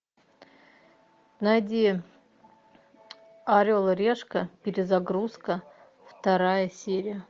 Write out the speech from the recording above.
найди орел и решка перезагрузка вторая серия